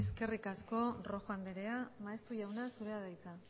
eskerrik asko rojo andrea maeztu jauna zurea da hitza